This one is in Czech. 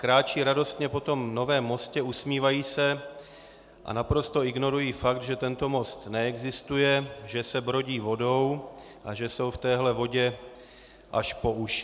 Kráčejí radostně po tom novém mostě, usmívají se a naprosto ignorují fakt, že tento most neexistuje, že se brodí vodou a že jsou v téhle vodě až po uši.